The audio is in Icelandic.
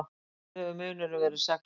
Mestur hefur munurinn verið sex mörk